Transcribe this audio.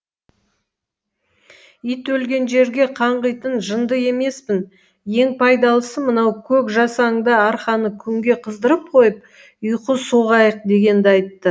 ит өлген жерге қаңғитын жынды емеспін ең пайдалысы мынау көк жасаңда арқаны күнге қыздырып қойып ұйқы соғайық дегенді айтты